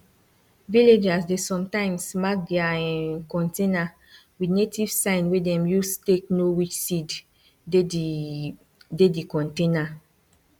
villagers dey sometimes mark their um container with native sign wey dem use take know which seed dey di dey di container